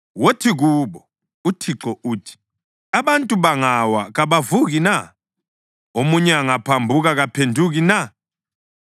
“Wothi kubo, ‘ UThixo uthi: Abantu bangawa, kabavuki na? Omunye angaphambuka, kaphenduki na?